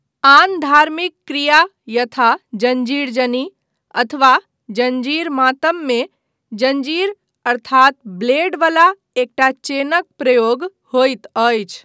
आन धार्मिक क्रिया यथा जंजीर जनी अथवा जंजीर मातममे जंजीर अर्थात ब्लेड बला एकटा चेनक प्रयोग होइत अछि।